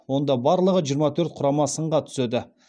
онда барлығы жиырма төрт құрама сынға түседі